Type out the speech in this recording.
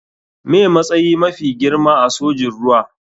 Me matsayi mafi girma a sojin ruwa.